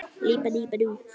Þinn Hörður.